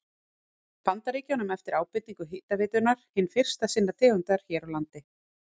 Bandaríkjunum eftir ábendingu Hitaveitunnar, hin fyrsta sinnar tegundar hér á landi.